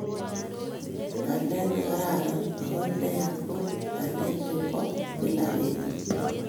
Ngalek "negararan"ago "neya" ko ngalekab chebo kila betut---